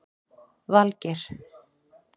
Valgeir